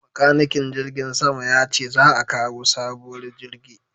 Makanikin jirgin sama ya ce za a kawo sabuwar jirgi